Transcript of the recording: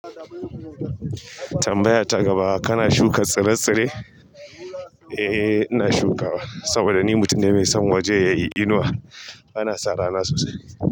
Tambaya ta gaba kana shuka tsire-tsire? Eh ina shukawa saboda ni mutum ne mai son waje yayi inuwa. Ana sa rana sosai.